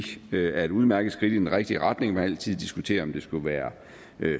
er et udmærket skridt i den rigtige retning man kan altid diskutere om det skulle være